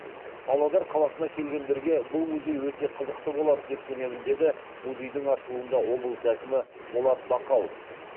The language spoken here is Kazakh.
павлодар қаласына келгендерге бұл музей өте қызықты болады деп сенемін деді музейдің ашылуында облыс әкімі болат бақауов